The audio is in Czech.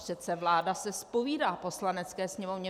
Přece vláda se zpovídá Poslanecké sněmovně.